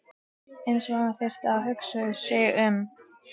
Eins og hann þyrfti að hugsa sig um.